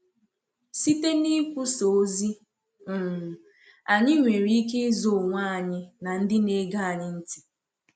Site n’ikwusà ozi, um anyị nwere ike ịzọ onwe anyị na ndị na-ege anyị ntị.